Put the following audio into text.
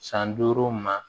San duuru ma